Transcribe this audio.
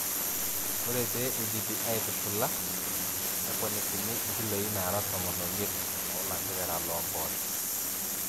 Ore pee eidipi aaitushula neponikini nkiloi naara tomon omiet oo lanterera loomposho.